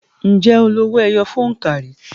Ǹjẹ́ o lo owó ẹyọ fún òǹkà rí?